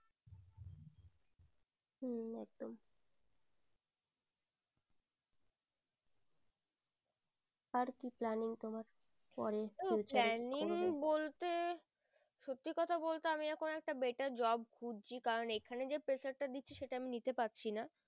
দেখো planning বলতে সত্যি কথা বলতে আমি এখুন একটা better job খুঁজছি কারণ এখানে যে pressure তা দিচ্ছে আমি নিতে পারছি না